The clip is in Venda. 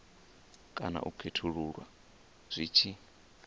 kana u khethulula zwi tshi